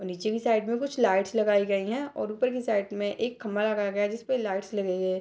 और नीचे की साइड में कुछ लाइट्स लगाई गई हैं और ऊपर के साइड में एक खंबा लगाया गया है जिसमें लाइट्स लगाई गई हैं।